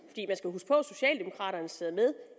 for at socialdemokraterne sidder med